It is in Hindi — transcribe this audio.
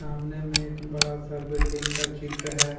सामने में एक बड़ा सा बिल्डिंग का चित्र है।